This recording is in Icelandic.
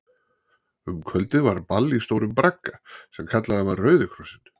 Um kvöldið var ball í stórum bragga, sem kallaður var Rauði Krossinn.